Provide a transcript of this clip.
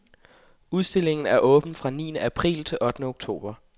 Udstillingen er åben fra niende april til ottende oktober.